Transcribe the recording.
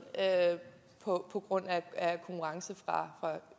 på grund af konkurrence fra